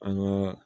An ye